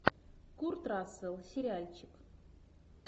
курт рассел сериальчик